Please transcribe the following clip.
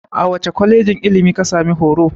A wace kwalejin ilimi ka sami horo?